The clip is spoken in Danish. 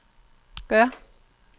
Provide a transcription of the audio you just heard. gør